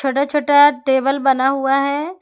छोटा छोटा टेबल बना हुआ है।